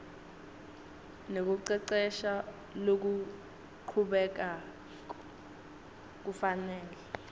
nekucecesha lokuchubekako kufanele